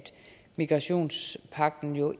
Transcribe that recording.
migrationspagten jo